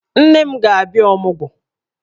Nne m ga-abịa ọmụgwọ